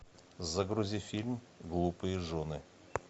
загрузи фильм глупые жены